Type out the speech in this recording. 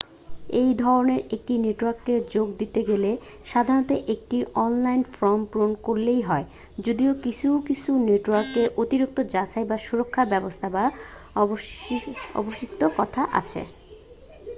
এইধরনের একটি নেটওয়ার্কে যোগ দিতে গেলে সাধারণত একটি অনলাইন ফর্ম পূরণ করলেই হয় যদিও কিছুকিছু নেটওয়ার্কে অতিরিক্ত যাচাই বা সুরক্ষার ব্যবস্থা বা আবশ্যিকতা আছে